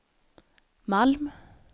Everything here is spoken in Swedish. Malm